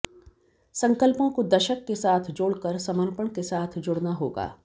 संकल्पों को दशक के साथ जोड़कर समर्पण के साथ जुड़ना होगा